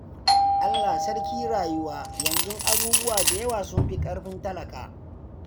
Allah sarki rayuwa! Yanzu abubuwa da yawa sun fi ƙarfin talaka.